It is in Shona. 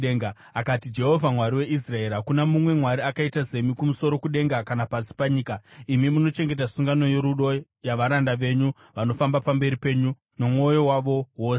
akati, “Jehovha, Mwari weIsraeri, hakuna mumwe Mwari akaita semi kumusoro kudenga kana pasi panyika, imi munochengeta sungano yorudo yavaranda venyu vanofamba pamberi penyu nomwoyo wavo wose.